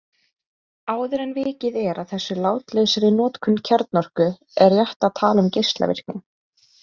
Áður en vikið er að þessum látlausari notum kjarnorku er rétt að tala um geislavirkni.